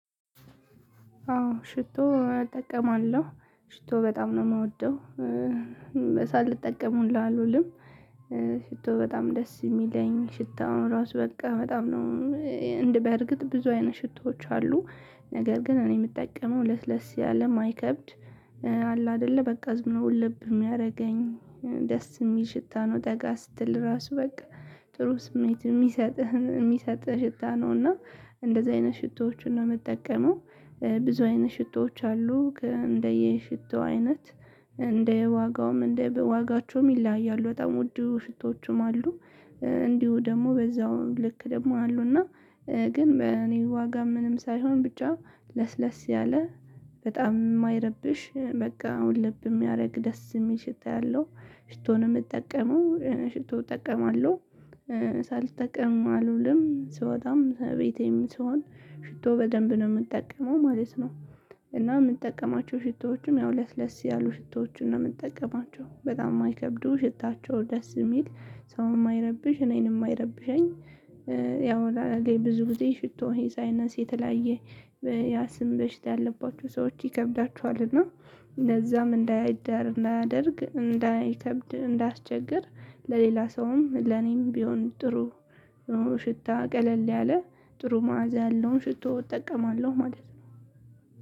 አዎ ሽቶ እጠቀማለሁ ሽቶ በጣም ነው ምወደው። ሳልጠቀም ሁላ አልውልም። ሽቶ በጣም ደስ ሚለኝ ሽታውን ራሱ በቃ በጣም ነው። እንድበርግጥ ብዙ አይነት ሽቶዎች አሉ። ነገር ግን እኔ ምጠቀመው ለስለስ ያለ ማይከብድ አለ አደለ በቃ ዝምብሎ ወለብ ሚያረገኝ። ደስ ሚል ሽታ ነው ጠጋ ስትል ራሱ በቃ። ጥሩ ስሜት ሚሰጥህ ሚሰጥህ ሽታ ነው እና እንደዚህ አይነት ሽቶዎችን ነው ምጠቀመው። ብዙ አይነት ሽቶዎች አሉ እንደየ ሽቶው አይነት። እንደ ዋጋውም እንደ ዋጋቸውም ይለያሉ በጣም ውዱ ሽቶቹም አሉ። እንዲሁ ደግሞ በዛው ልክ ደግሞ አሉና። ግን እኔ ዋጋ ምንም ሳይሆን ብቻ ለስለስ ያለ በጣም ማይረብሽ በቃ አሁን ውልብ ሚያረግ ደስ ሚል ሽታ ያለው ሽቶ ነው ምጠቀመው ሽቶ እጠቀማለሁ። ሳልጠቀም አልውልም ስወጣም ቤቴም ስሆን ሽቶ በደንብ ነው ምጠቀመው ማለት ነው። እና ምንጠቀማቸው ሽቶዎችም ያው ለስ ለስ ያሉ ሽቶዎችን ነው ምጠቀማቸው በጣም ማይከብዱ ሽታቸው ደስ ሚል ሰው ማይረብሽ እኔንም ማይረብሸኝ። ያው ብዙ ጊዜ ሽቶ የሳይነስ የተለያየ ያስም በሽታ ያለባቸው ሰዎች ይከብዳቸዋል። እና ለዛም እንዳይዳር እንዳያደርግ እንዳይከብድ እንዳያስቸግር ለሌላ ሰውም ለኔም ቢሆን ጥሩ። ሽታ ቀለል ያለ ጥሩ ማዕዛ ያለውን ሽቶ እጠቀማለሁ ማለት ነው።